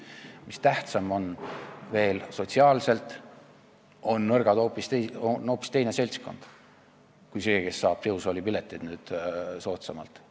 Mis veel tähtsam, sotsiaalselt on nõrk hoopis teine seltskond kui see, kes saab jõusaali pileteid nüüd soodsamalt.